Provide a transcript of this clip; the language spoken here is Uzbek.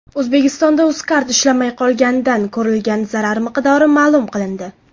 O‘zbekistonda UzCard ishlamay qolganidan ko‘rilgan zarar miqdori ma’lum qilindi.